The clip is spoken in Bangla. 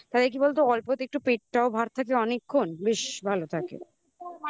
তাহলে কি বলতো অল্পতে একটু পেটটাও ভার থাকলে অনেক্ষন বেশ ভালো থাকে